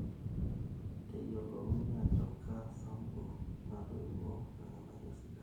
Teyiolouni ajo kaa sampu natoiouo irrnganayio sidan.